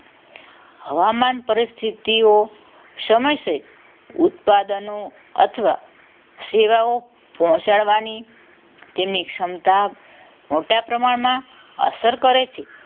હવામાન પરિસ્થિતિઓ સમયસે ઉત્પાદનો અથવા સેવાઓ પહોંચાડવાની તેની ક્ષમતા મોટા પ્રમાણમાં અસર કરે છે